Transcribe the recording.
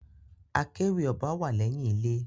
Akéwì ọba wá lẹyìn ilé.